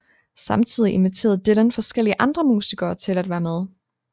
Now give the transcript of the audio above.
Samtidig inviterede Dylan forskellige andre musikere til at være med